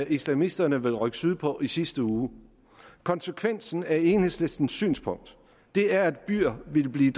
islamisterne ville rykke sydpå i sidste uge konsekvensen af enhedslistens synspunkt er at byer vil blive